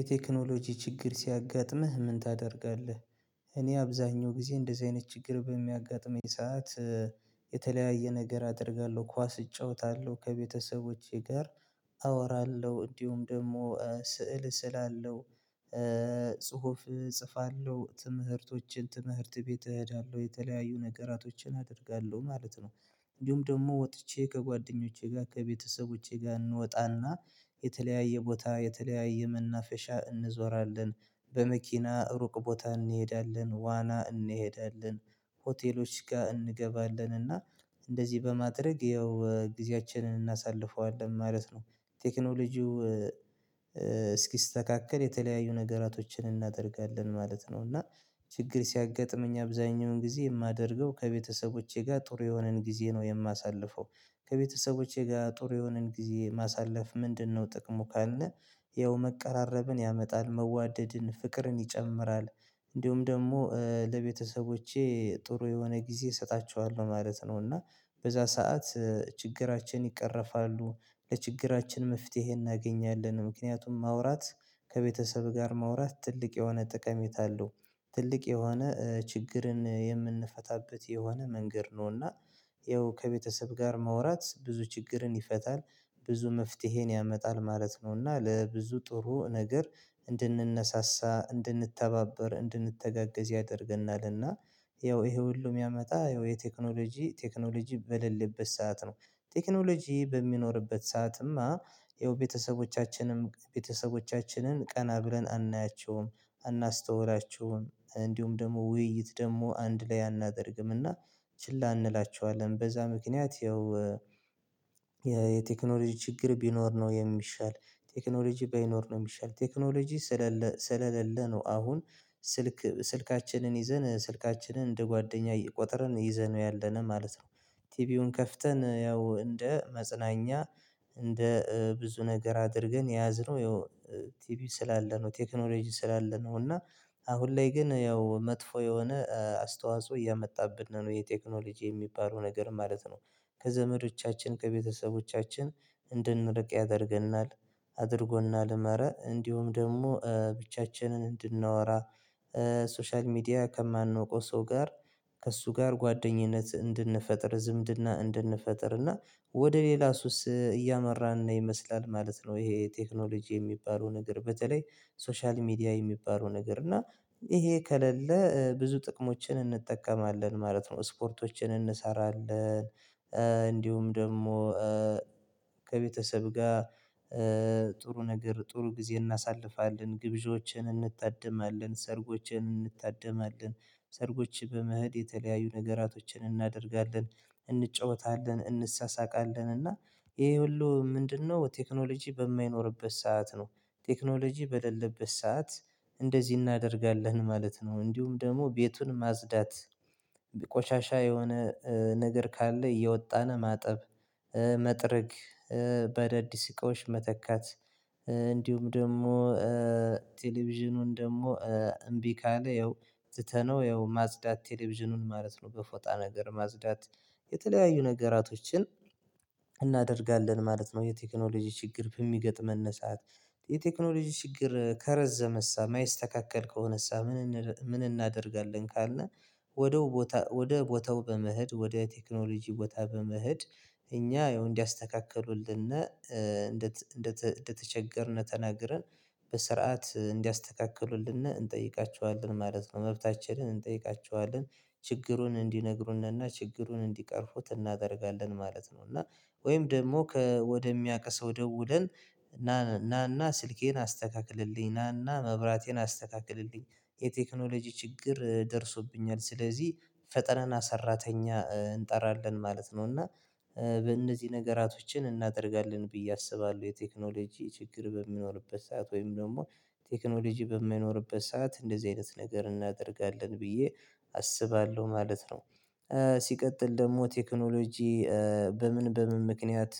የቴክኖሎጂ ችግር ሲያጋጥምህ ምን ታደርጋለህ? እኔ አብዛኛው ጊዜ እንደዚህ አይነት ችግር በሚያጋጥመኝ ሰዓት የተለያየ ነገር አደርጋለሁ። ኳስ እጫወታለሁ ከቤተሰቦቼ ጋር አወራለሁ እንዲሁም ደግሞ ስዕል እስላለው። ጽሁፍ እጽፋለሁ ትምህርቶችን ትምህርት ቤት እሄዳለሁ የተለያዩ ነገራቶችን አደርጋለሁ ማለት ነው። እንዲሁም ደግሞ ወጥቼ ከጓደኞቼ ጋር ከቤተሰቦቼ ጋር እንወጣና የተለያየ ቦታ የተለያየ መናፈሻ እንዞራለን። በመኪና ሩቅ ቦታ እንሄዳለን ዋና እንሄዳለን ሆቴሎች ጋር እንገባለን እና እንደዚህ በማድረግ ያው ጊዜያችንን እናሳልፈዋለን ማለት ነው። ቴክኖሎጂው እስኪስተካከል የተለያዩ ነገራቶችን እናደርጋለን ማለት ነው። እና ችግር ሲያጋጥመኝ አብዛኛውን ጊዜ የማደርገው ከቤተሰቦቼ ጋር ጥሩ የሆነን ጊዜ ነው የማሳልፈው። ከቤተሰቦቼ ጋር ጥሩ የሆንን ጊዜ ማሳለፍ ምንድነው ጥቅሙ ካለን? ያው መቀራረብን ያመጣል መዋደድን ፍቅርን ይጨምራል። እንዲሁም ደግሞ ለቤተሰቦቼ ጥሩ የሆነ ጊዜ እሰጣቸዋለሁ ማለት ነው። እና በዛ ሰዓት ችግራችን ይቀረፋሉ ለችግራችን መፍትሄ እናገኛለን። ምክንያቱም ማውራት ከቤተሰብ ጋር ማውራት ትልቅ የሆነ ጠቀሜታ አለው። ትልቅ የሆነ ችግርን የምንፈታበት የሆነ መንገድ ነው እና። ያው ከቤተሰብ ጋር ማውራት ብዙ ችግርን ይፈታል ብዙ መፍትሄን ያመጣል ማለት ነው። እና ለብዙ ጥሩ ነገር እንድንነሳሳ እንድንተባበር እንድንተጋገዝ ያደርግናል። እና ያው ይሄ ሁሉ የሚያመጣ ያው የቴክኖሎጂ ቴክኖሎጂ በሌለበት ሰዓት ነው። ቴክኖሎጂ በሚኖርበት ሰዓትማ ያው ቤተሰቦቻችንም ቤተሰቦቻችንን ቀና ብለን አናያቸውም። አናስተውላቸውም እንዲሁም ደግሞ ውይይት ደግሞ አንድ ላይ አናደርግም እና ችላ እንላቸዋለን። በዛ ምክንያት ያው የቴክኖሎጂ ችግር ቢኖር ነው የሚሻል። ቴክኖሎጂ ባይኖር ነው የሚሻል ቴክኖሎጂ ስለሌለ ነው። አሁን ስልክ ስልካችንን ይዘን ስልካችንን እንደ ጓደኛ ቆጥረን ይዘነው ያለነው ማለት ነው። ቲቪውን ከፍተን ያው እንደ መጽናኛ እንደ ብዙ ነገር አድርገን የያዝነው ያው ቲቪ ስላለ ነው ቴክኖሎጂ ስላለ ነው። እና አሁን ላይ ግን ያው መጥፎ የሆነ አስተዋጽኦ እያመጣብን ነው ይሄ ቴክኖሎጂ የሚባለው ነገር ማለት ነው። ከዘመዶቻችን ከቤተሰቦቻችን እንድንርቅ ያደርገናል። አድርጎናልም ኧረ እንዲሁም ደግሞ ብቻችንን እንድናወራ ሶሻል ሚዲያ ከማንወቀው ሰው ጋር ከእሱ ጋር ጓደኝነት እንድንፈጥር ዝምድና እንድንፈጥር እና ወደ ሌላ ሱስ እያመራን ይመስላል ማለት ነው። ይሄ ቴክኖሎጂ የሚባለው ነገር በተለይ ሶሻል ሚዲያ የሚባለው ነገር እና ይሄ ከሌለ ብዙ ጥቅሞችን እንጠቀማለን ማለት ነው። ስፖርቶችን እንሰራለን። እንዲሁም ደግሞ ከቤተሰብ ጋር ጥሩ ነገር ጥሩ ጊዜ እናሳልፋለን ግብዣዎችን እንታደማለን ሰርጎችን እንታደማለን። ሰርጎች በመሄድ የተለያዩ ነገራቶችን እናደርጋለን። እንጫወታለን እንሳሳቃለን እና ይሄ ሁሉ ምንድነው ቴክኖሎጂ በማይኖርበት ሰዓት ነው? ቴክኖሎጂ በሌለበት ሰዓት እንደዚህ እናደርጋለን ማለት ነው። እንዲሁም ደግሞ ቤቱን ማጽዳት ቆሻሻ የሆነ ነገር ካለ እያወጣን ማጠብ መጥረግ በአዳዲስ እቃዎች መተካት። እንዲሁም ደግሞ ቴሌቪዥኑን ደግሞ እምቢ ካለ ያው ትተነው ያው ማጽዳት ቴሌቪዥኑን ማለት ነው። በፎጣ ነገር ማጽዳት የተለያዩ ነገራቶችን እናደርጋለን ማለት ነው። የቴክኖሎጂ ችግር በሚገጥመን ሰዓት። የቴክኖሎጂ ችግር ከረዘመሳ የማይስተካከል ከሆነሳ ምን ምን እናደርጋለን ካልን? ወደ ቦታ ወደ ቦታው በመሄድ ወደ ቴክኖሎጂ ቦታ በመሄድ እኛ ያው እንዲያስተካክሉልንና እንደተቸገርን ተናግረን በስርዓት እንዲያስተካክሉልን እንጠይቃቸዋለን ማለት ነው። መብታችንን እንጠይቃቸዋለን። ችግሩን እንዲነግሩንና ችግሩን እንዲቀርፉት እናደርጋለን ማለት ነው። እና ወይም ደግሞ ከወደሚያቅ ሰው ደውለን ናና ስልኬን አስተካክልልኝ ናና መብራቴን አስተካክልልኝ የቴክኖሎጂ ችግር ደርሶብኛል ስለዚህ ፈጥነን ሰራተኛ እንጠራለን ማለት ነው። እና በእነዚህ ነገራቶችን እናደርጋለን ብዬ አስባለሁ የቴክኖሎጂ ችግር በሚኖርበት ሰዓት ወይም ደግሞ ቴክኖሎጂ በማይኖርበት ሰዓት እንደዚህ አይነት ነገር እናደርጋለን ብዬ አስባለሁ ማለት ነው። ሲቀጥል ደግሞ ቴክኖሎጂ በምን በምን ምክንያት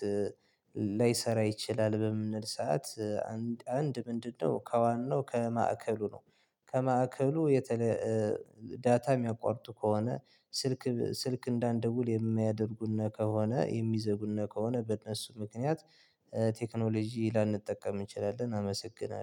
ላይሰራ ይችላል በምንል ሰዓት? አንድ ምንድነው ከዋናው ከማዕከሉ ነው? ከማዕከሉ የተለ ዳታ የሚያቋርጡ ከሆነ ስልክ ስልክ እንዳንደውል የሚያደርጉን ከሆነ የሚዘጉን ከሆነ በእነሱ ምክንያት። ቴክኖሎጂ ላንጠቀም እንችላለን። አመሰግናለሁ